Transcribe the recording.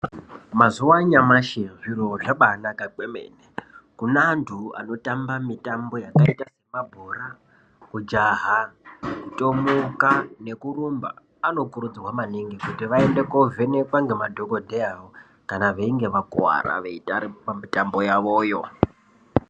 Mazuva anyamashi zviro zvabaanaka kwemene. Kuneantu anotamba mitambo yakaita semabhora kujaha kutomuka nekurumba. Anokurudzirwa maningi kuti vaende koovhekwa ngemadhogodheya kana veinge vakuwara veitamba mitambo yavoyo.